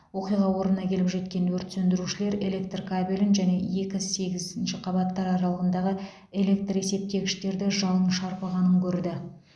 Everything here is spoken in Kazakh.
оқиға орнына келіп жеткен өрт сөндірушілер электр кабелін және екі сегізінші қабаттар аралығындағы электр есептегіштерді жалын шарпығанын көрді